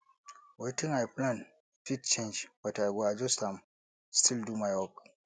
wetin i plan fit change but i go adjust am still do my work